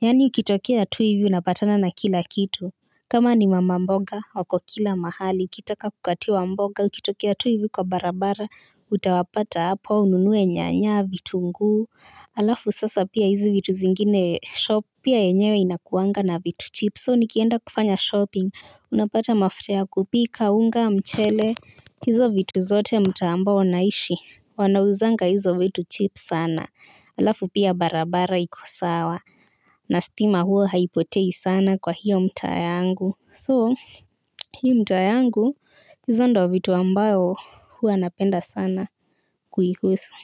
Yani ukitokia tu hivi unapatana na kila kitu kama ni mama mboga wako kila mahali ukitaka kukatiwa mboga ukitokea tu hivi kwa barabara utawapata hapo ununuwe nyanya vitungu alafu sasa pia hizi vitu zingine shop pia yenyewe inakuwanga na vitu cheap so nikienda kufanya shopping unapata mafuta ya kupika, unga, mchele hizo vitu zote. Mtaa ambao ninaishi wanauzanga hizo vitu cheap sana alafu pia barabara iko sawa na stima huwa haipotei sana kwa hiyo mtaa yangu so hii mtaa yangu hizo ndizo vitu ambavyo huwa napenda sana kuihusu.